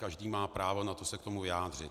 Každý má právo na to se k tomu vyjádřit.